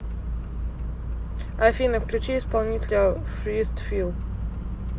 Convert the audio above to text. афина включи исполнителя фирстфил